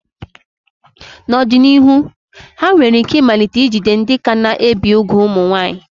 N'ọdịnihu, ha nwere ike ịmalite ijide ndị ka na-ebi úgwù ụmụ nwaanyị.